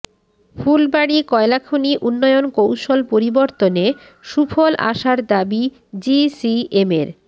ফুলবাড়ী কয়লাখনি উন্নয়ন কৌশল পরিবর্তনে সুফল আসার দাবি জিসিএমের